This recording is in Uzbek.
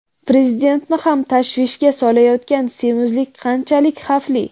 Prezidentni ham tashvishga solayotgan semizlik qanchalik xavfli?.